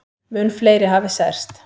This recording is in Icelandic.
Mun fleiri hafi særst.